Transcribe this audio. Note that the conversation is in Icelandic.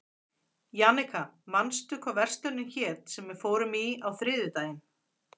Jannika, manstu hvað verslunin hét sem við fórum í á þriðjudaginn?